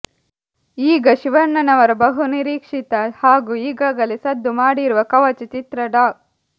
ಈಗ ಶಿವಣ್ಣನವರ ಬಹುನಿರೀಕ್ಷಿತ ಹಾಗೂ ಈಗಾಗಲೇ ಸದ್ದು ಮಾಡಿರುವ ಕವಚ ಚಿತ್ರದಲ್ಲಿ ಡಾ